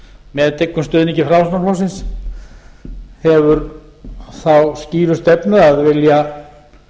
með dyggum stuðningi framsóknarflokksins hefur þá skýru stefnu að vilja